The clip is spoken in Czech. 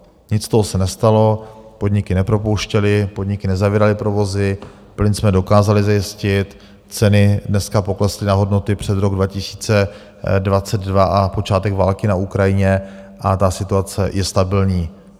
Nic z toho se nestalo, podniky nepropouštěly, podniky nezavíraly provozy, plyn jsme dokázali zajistit, ceny dneska poklesly na hodnoty před rok 2022 a počátek války na Ukrajině, a ta situace je stabilní.